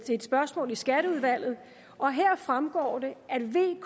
et spørgsmål i skatteudvalget og her fremgår det